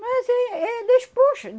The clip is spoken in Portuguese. Mas é, é despois.